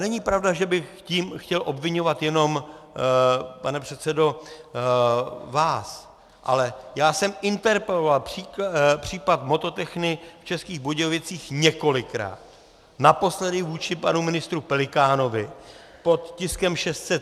Není pravda, že bych tím chtěl obviňovat jenom, pane předsedo, vás, ale já jsem interpeloval případ Mototechny v Českých Budějovicích několikrát, naposledy vůči panu ministru Pelikánovi pod tiskem 603.